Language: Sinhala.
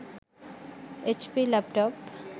hp laptop